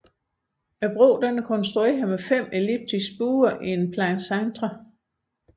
Broen er konstrueret med fem elliptiske buer en plein cintre